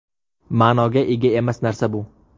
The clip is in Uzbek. Ma’noga ega emas narsa bu.